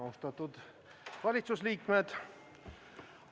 Austatud valitsuse liikmed!